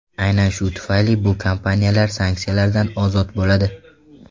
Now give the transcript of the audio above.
Aynan shu tufayli bu kompaniyalar sanksiyalardan ozod bo‘ladi.